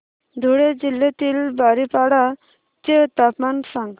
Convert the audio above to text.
धुळे जिल्ह्यातील बारीपाडा चे तापमान सांग